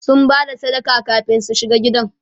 sun Bada sadaka kamin su shiga gidan